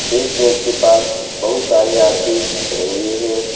एक बेंच के पास बहुत सारे आदमी खड़े हुए हैं।